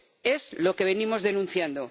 Es lo que venimos denunciando.